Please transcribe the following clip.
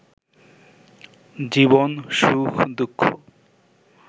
জীবন, সুখ-দুঃখ